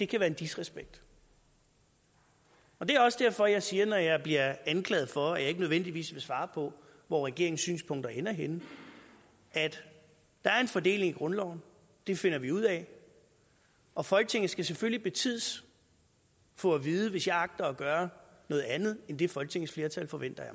kan være en disrespekt det er også derfor jeg siger når jeg bliver anklaget for at jeg ikke nødvendigvis vil svare på hvor regeringens synspunkter ender henne der er en fordeling i grundloven det finder vi ud af og folketinget skal selvfølgelig betids få at vide hvis jeg agter at gøre noget andet end det folketingsflertallet forventer af